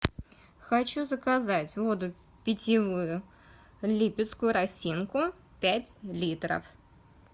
хочу заказать воду питьевую липецкую росинку пять литров